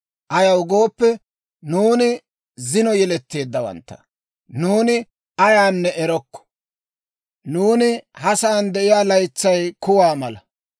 Ayaw gooppe, nuuni zino yeletteeddawantta; nuuni ayaanne erokko. Nuuni ha sa'aan de'iyaa laytsay kuwaa mala.